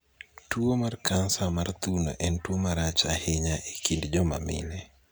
tuo kansa mar thuno en tuo marach ahinya e kind joma mine